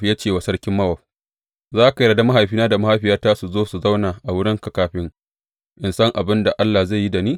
Ya ce wa sarkin Mowab, Za ka yarda mahaifina da mahaifiyata su zo su zauna a wurinka kafin in san abin da Allah zai yi da ni?